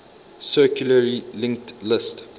circularly linked list